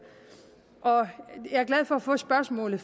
jeg er glad for at få spørgsmålet